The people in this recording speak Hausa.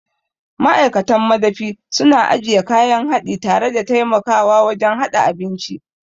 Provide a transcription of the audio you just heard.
Ma'aikatan madafi suna ajiye kayan haɗi tare da taimakawa wajen haɗa abinci.